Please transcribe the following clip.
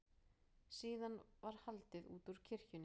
Síðan var haldið útúr kirkjunni.